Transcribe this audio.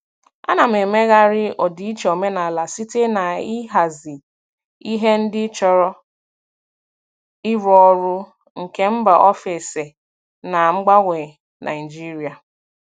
Ana m emegharị ọdịiche omenala site n'ịhazi ihe ndị chọrọ ịrụ ọrụ nke mba ofesi na mgbanwe Nigeria.